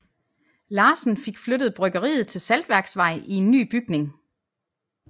Larsen fik flyttet bryggeriet til Saltværksvej i en ny bygning